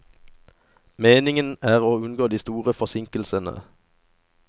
Meningen er å unngå de store forsinkelsene.